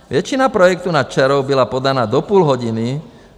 Většina projektů nad čarou byla podána do půl hodiny.